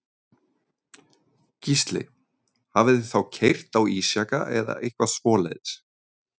Gísli: Hafið þið þá keyrt á ísjaka eða eitthvað svoleiðis?